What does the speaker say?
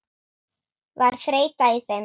Var þreyta í þeim?